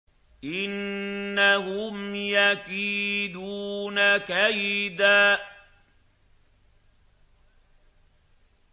إِنَّهُمْ يَكِيدُونَ كَيْدًا